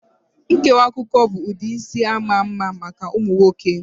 Nkewa akụkụ bụ ụdị isi ama ama maka ụmụ nwoke